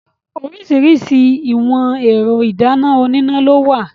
Oríṣiríṣi ìwọ̀n ẹ̀rọ ìdáná oníná lówà.